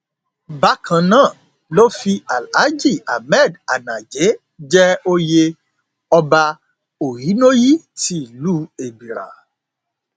bákan náà ló fi alhaji ahmed anaje jẹ oyè ọba ohinoyi tìlùú ebírà